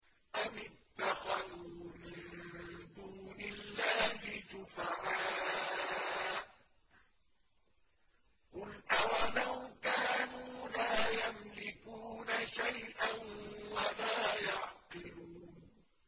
أَمِ اتَّخَذُوا مِن دُونِ اللَّهِ شُفَعَاءَ ۚ قُلْ أَوَلَوْ كَانُوا لَا يَمْلِكُونَ شَيْئًا وَلَا يَعْقِلُونَ